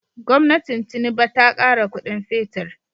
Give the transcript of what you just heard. Gwamnatin tinuba ta kara Ƙudin fetir